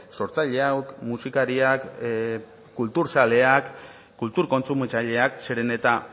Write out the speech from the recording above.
sortzaileak musikariak kulturzaleak eta kultur kontsumitzaileak zeren eta